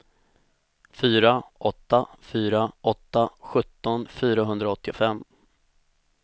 fyra åtta fyra åtta sjutton fyrahundraåttiofem